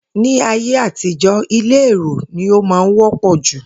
Ní ayé àtijó̩, ilé èrò ni ó wó̩pò̩ jù